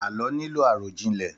Àlọ́ nílò àròjinlẹ̀